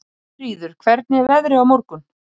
Gyðríður, hvernig er veðrið á morgun?